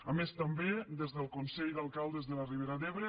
a més també des del consell d’alcaldes de la ribera d’ebre